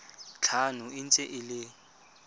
tlhano e ntse e le